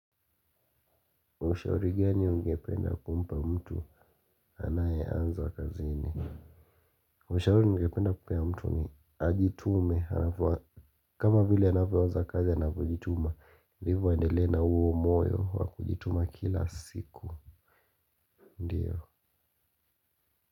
Ushauri gani ungependa kumpa mtu anayeanza kazini. Maushauri ningependa kupea mtu ni ajitume kama vile anavyoanza kazi anavyojituma. Ndivyo aendelee na huo moyo wa kujituma kila siku ndiyo.